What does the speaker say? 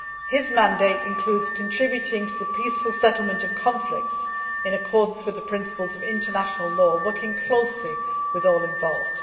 His mandate includes contributing to the peaceful settlement of conflicts in accordance with the principles of international law, working closely with all involved.